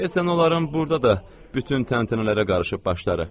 Deyəsən, onların burada da bütün təntənələrə qarışıb başları.